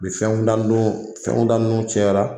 U bi fɛn da nunnu, fɛn da nunnu cɛyara